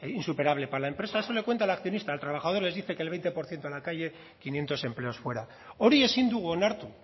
insuperable para la empresa eso le cuenta al accionista al trabajador le dice que el veinte por ciento a la calle quinientos empleados fuera hori ezin dugu onartu